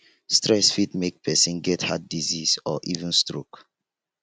stress fit make person get heart disease or even stoke